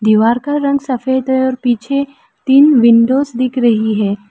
दीवार का रंग सफेद है और पीछे तीन विंडोज दिख रही है।